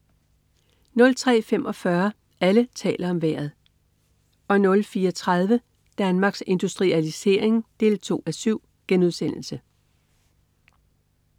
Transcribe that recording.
03.45 Alle taler om Vejret 04.30 Danmarks Industrialisering 2:7*